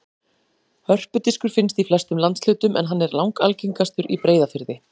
Hörpudiskur finnst í flestum landshlutum en hann er langalgengastur í Breiðafirði.